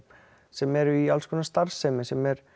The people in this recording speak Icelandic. sem eru í starfsemi sem eru